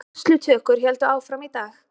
Skýrslutökur héldu áfram í dag